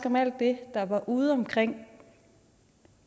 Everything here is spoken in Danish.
om alt det der var udeomkring